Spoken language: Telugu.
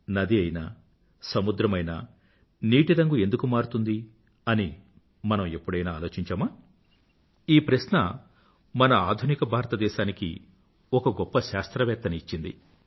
నది అయినా సముద్రమయినా నీటి రంగు ఎందుకు మారుతుంది అని మనం ఎప్పుడైనా ఆలోచించామా ఈ ప్రశ్న మన ఆధునిక భారతదేశానికి ఒక గొప్ప శాస్త్రవేత్తని ఇచ్చింది